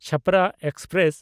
Chhapra express